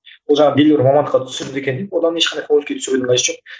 ол жаңағы белгілі бір мамандыққа түсірді екен деп одан ешқандай қажеті жоқ